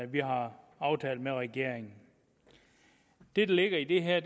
vi har aftalt med regeringen det der ligger i det her